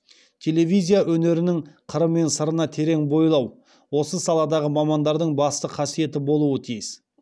телевизия өнерінің қыры мен сырына терең бойлау осы саладағы мамандардың басты қасиеті болуы тиіс